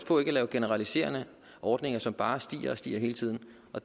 på ikke at lave generaliserende ordninger som bare stiger og stiger hele tiden